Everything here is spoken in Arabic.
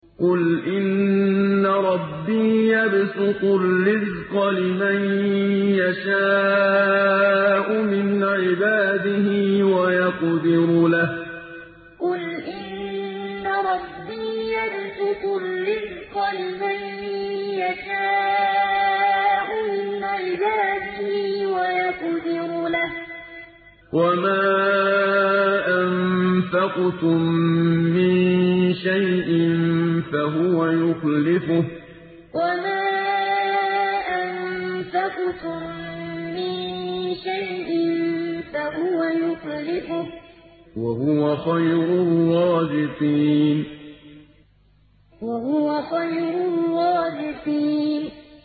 قُلْ إِنَّ رَبِّي يَبْسُطُ الرِّزْقَ لِمَن يَشَاءُ مِنْ عِبَادِهِ وَيَقْدِرُ لَهُ ۚ وَمَا أَنفَقْتُم مِّن شَيْءٍ فَهُوَ يُخْلِفُهُ ۖ وَهُوَ خَيْرُ الرَّازِقِينَ قُلْ إِنَّ رَبِّي يَبْسُطُ الرِّزْقَ لِمَن يَشَاءُ مِنْ عِبَادِهِ وَيَقْدِرُ لَهُ ۚ وَمَا أَنفَقْتُم مِّن شَيْءٍ فَهُوَ يُخْلِفُهُ ۖ وَهُوَ خَيْرُ الرَّازِقِينَ